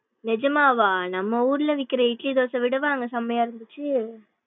நிஜமாவா நம்ம ஊருல விக்குற இட்லி தோசைய விடவா அங்க செம்மையா இருந்துச்சு.